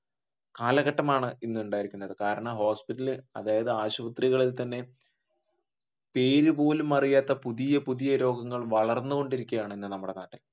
കാലഘട്ടമാണ് ഇന്നുണ്ടായിരിക്കുന്നത് കാരണം hospital അതായത് ആശുപത്രികളിൽ തന്നെ പേര് പോലുമറിയാത്ത പുതിയ പുതിയ രോഗങ്ങൾ വളർന്നു കൊണ്ടിരിക്കുകയാണ് ഇന്ന് നമ്മുടെ നാട്ടിൽ